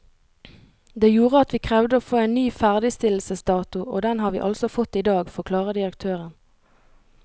Det gjorde at vi krevde å få en ny ferdigstillelsesdato, og den har vi altså fått i dag, forklarer direktøren.